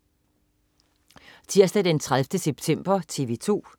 Tirsdag den 30. september - TV 2: